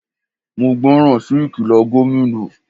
Mo gbọ́ ràn sí ìkìlọ̀ Gómìnà.